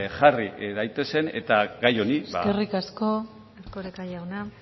jarri daitezen eta gai honi ba eskerrik asko erkoreka jauna